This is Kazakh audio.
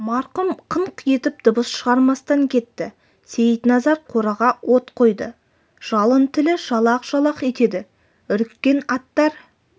марқұм қыңқ етіп дыбыс шығармастан кетті сейтназар қораға от қойды жалын тілі жалақ-жалақ етеді үріккен аттар